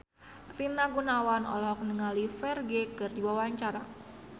Rina Gunawan olohok ningali Ferdge keur diwawancara